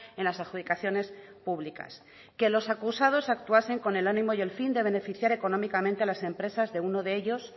en las adjudicaciones públicas que los acusados actuasen con el ánimo y el fin de beneficiar económicamente a las empresas de uno de ellos